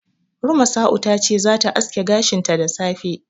Rumasa'u ta ce zata aske gashinta da safe.